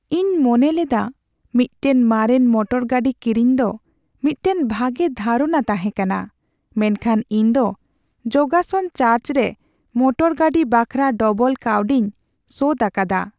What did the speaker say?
ᱤᱧ ᱢᱚᱱᱮᱞᱮᱫᱟ ᱢᱤᱫᱴᱟᱝ ᱢᱟᱨᱮᱱ ᱢᱚᱴᱚᱨ ᱜᱟᱹᱰᱤ ᱠᱤᱨᱤᱧ ᱫᱚ ᱢᱤᱫᱴᱟᱝ ᱵᱷᱟᱜᱮ ᱫᱷᱟᱨᱚᱱᱟ ᱛᱟᱦᱮᱸ ᱠᱟᱱᱟ ᱢᱮᱱᱠᱷᱟᱱ ᱤᱧ ᱫᱚ ᱡᱚᱜᱟᱥᱟᱱ ᱪᱟᱨᱡ ᱨᱮ ᱢᱚᱴᱚᱨ ᱜᱟᱹᱰᱤ ᱵᱟᱠᱷᱨᱟ ᱰᱚᱵᱚᱞ ᱠᱟᱹᱣᱰᱤᱧ ᱥᱳᱫᱷ ᱟᱠᱟᱫᱟ ᱾